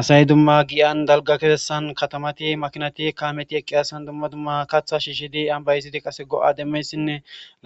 asay dumma giyan dalga kesessan katamati makinati kaameti eqqi asan dumma dumma katha shiihidi ambay izidi qase go7a demmeyssinne